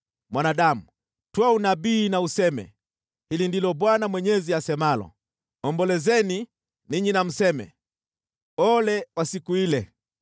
“Mwanadamu, toa unabii na useme: ‘Hili ndilo Bwana Mwenyezi asemalo: “ ‘Ombolezeni ninyi na mseme, “Ole wa siku ile!”